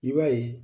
I b'a ye